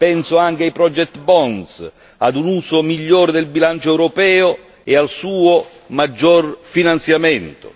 Penso anche ai Project Bond ad un uso migliore del bilancio europeo e al suo maggior finanziamento.